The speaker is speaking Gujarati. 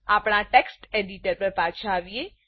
આપણા ટેકસ્ટ એડિટર પર પાછા આવીએ